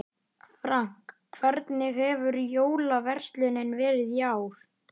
Frank, hvernig hefur jólaverslunin verið í ár?